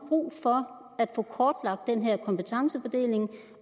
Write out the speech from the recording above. brug for at få kortlagt den her kompetencefordeling